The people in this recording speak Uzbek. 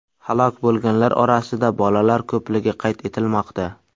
Halok bo‘lganlar orasida bolalar ko‘pligi qayd etilmoqda.